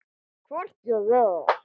Hvort ég er.